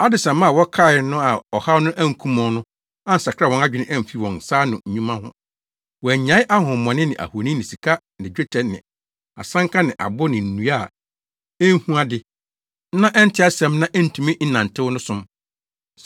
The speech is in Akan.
Adesamma a wɔkae no a ɔhaw no ankum wɔn no ansakra wɔn adwene amfi wɔn nsa ano nnwuma ho. Wɔannyae ahonhommɔne ne ahoni ne sika ne dwetɛ ne asanka ne abo ne nnua a enhu ade na ɛnte asɛm na entumi nnantew no som.